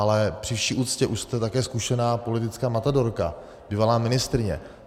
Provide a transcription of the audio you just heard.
Ale při vší úctě, už jste také zkušená politická matadorka, bývalá ministryně.